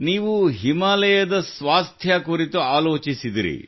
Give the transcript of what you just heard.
ನೀವು ಹಿಮಾಲಯದ ಸ್ವಾಸ್ಥ್ಯ ಕುರಿತು ಆಲೋಚಿಸಿದಿರಿ